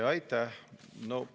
Aitäh!